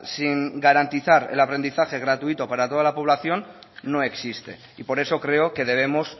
sin garantizar el aprendizaje gratuito para toda la población no existe y por eso creo que debemos